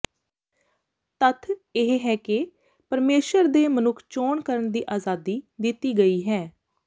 ਤੱਥ ਇਹ ਹੈ ਕਿ ਪਰਮੇਸ਼ੁਰ ਦੇ ਮਨੁੱਖ ਚੋਣ ਕਰਨ ਦੀ ਆਜ਼ਾਦੀ ਦਿੱਤੀ ਗਈ ਹੈ